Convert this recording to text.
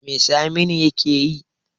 Me saminu yakeyi?